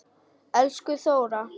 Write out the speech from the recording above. Elsku Þóra.